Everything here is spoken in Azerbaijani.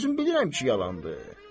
Mən özüm bilirəm ki, yalandır.